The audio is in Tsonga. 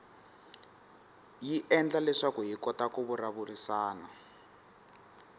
yi endla leswaku hi kota ku vulavurisana